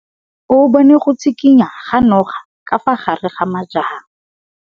O bone go tshikinya ga noga ka fa gare ga majang.